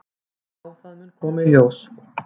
"""Já, það mun koma í ljós."""